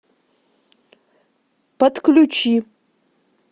подключи